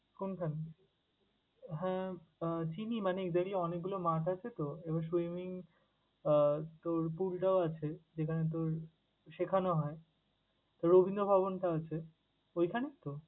কোন খানে? হ্যাঁ আহ চিনি মানে এদেরই অনেকগুলো মাঠ আছে তো এবার swimming আহ তোর pool টাও আছে যেখানে তোর শিখানো হয়, রবীন্দ্র ভবনটা আছে ওইখানে তো?